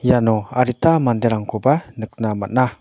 iano adita manderangkoba nikna man·a.